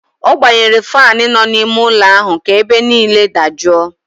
Ọ gbanyere faanụ nọ n'ime ụlọ ahụ ka ebe niile dajụọ